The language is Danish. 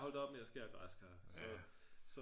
holdt op med at skære græskar så